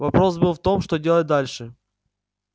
вопрос был в том что делать дальше